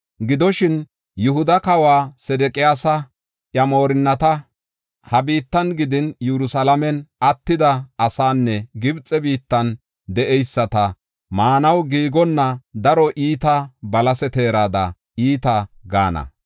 Gidoshin, “Yihuda kawa Sedeqiyaasa, iya moorinnata, ha biittan gidin Yerusalaamen attida asaanne Gibxe biittan de7eyisata maanaw giigonna daro iita balase teerada iita gaana.